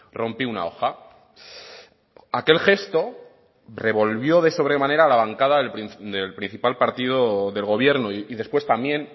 rompí una hoja aquel gesto revolvió de sobremanera la bancada del principal partido del gobierno y después también